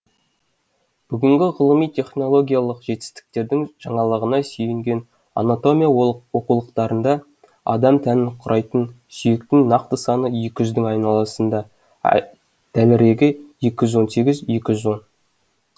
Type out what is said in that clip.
бүгінгі ғылыми технологиялық жетістіктердің жаңалығына сүйенген анатомия оқулықтарында адам тәнін құрайтын сүйектің нақты саны екі жүздің айналасында дәлірегі екі жүз он сегіз екі жүз он